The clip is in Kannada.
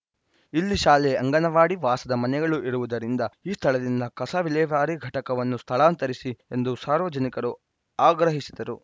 ಇಲ್ಲಿ ಶಾಲೆ ಅಂಗನವಾಡಿ ವಾಸದ ಮನೆಗಳು ಇರುವುದರಿಂದ ಈ ಸ್ಥಳದಿಂದ ಕಸ ವಿಲೇವಾರಿ ಘಟಕವನ್ನು ಸ್ಥಳಾಂತರಿಸಿ ಎಂದು ಸಾರ್ವಜನಿಕರು ಆಗ್ರಹಿಸಿದರು